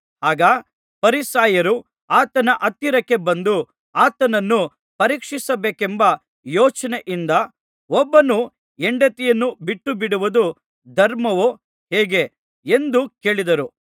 ಆಗ ಫರಿಸಾಯರು ಆತನ ಹತ್ತಿರಕ್ಕೆ ಬಂದು ಆತನನ್ನು ಪರೀಕ್ಷಿಸಬೇಕೆಂಬ ಯೋಚನೆಯಿಂದ ಒಬ್ಬನು ಹೆಂಡತಿಯನ್ನು ಬಿಟ್ಟುಬಿಡುವುದು ಧರ್ಮವೋ ಹೇಗೆ ಎಂದು ಕೇಳಿದರು